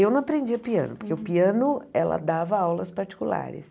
Eu não aprendia piano, porque o piano, ela dava aulas particulares.